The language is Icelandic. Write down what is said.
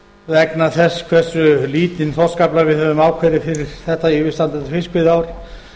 vegna þess hversu lítinn þorskafla við höfum ákveðið fyrir þetta yfirstandandi fiskveiðiár